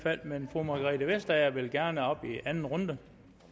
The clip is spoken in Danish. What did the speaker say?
men fru margrethe vestager vil gerne op i anden runde